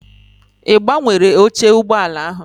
I gbanwere oche ụgbọala ahụ?